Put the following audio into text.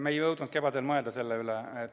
Me ei jõudnud kevadel selle üle mõelda.